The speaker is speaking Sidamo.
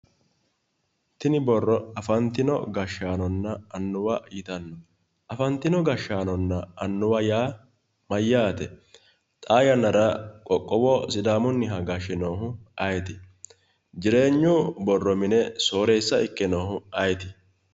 Tini borro afantino gashaanonna annuwa yitanno afantino gashaanonna annuwa yaa mayyaate xaa yannara qoqqowo sidaamunniha gashe noohu ayeeti jireenyu borro mine sooreessa ikke noohu ayeeti